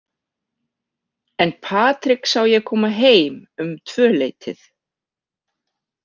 En Patrik sá ég koma heim um tvöleytið.